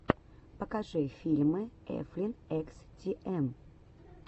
покажи фильмы эфлин экс ти эм